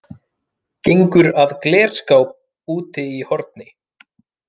Gengur að glerskáp úti í horni.